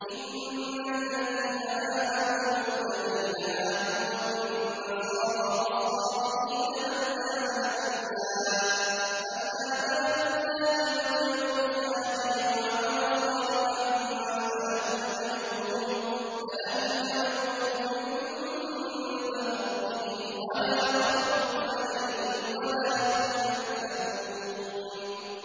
إِنَّ الَّذِينَ آمَنُوا وَالَّذِينَ هَادُوا وَالنَّصَارَىٰ وَالصَّابِئِينَ مَنْ آمَنَ بِاللَّهِ وَالْيَوْمِ الْآخِرِ وَعَمِلَ صَالِحًا فَلَهُمْ أَجْرُهُمْ عِندَ رَبِّهِمْ وَلَا خَوْفٌ عَلَيْهِمْ وَلَا هُمْ يَحْزَنُونَ